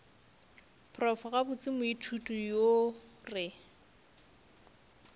prof gabotse moithuti yo re